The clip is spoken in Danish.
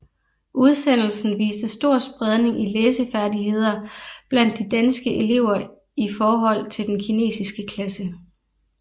Udsendelsen viste stor spredning i læsefærdigheder blandt de danske elever i forhold til den kinesiske klasse